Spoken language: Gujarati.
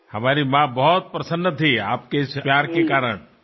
મારી બા ઘણી પ્રસન્ન હતી આપના આ પ્રેમના કારણે